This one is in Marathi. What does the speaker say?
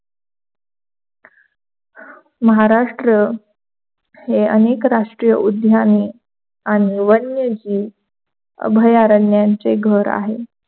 महाराष्ट्र हे अनेक राष्ट्रीय उद्याने आणि वन्यजीव अभयारण्याचे घर आहे.